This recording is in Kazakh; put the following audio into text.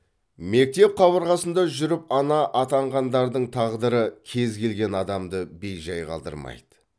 мектеп қабырғасында жүріп ана атанғандардың тағдыры кез келген адамды бей жай қалдырмайды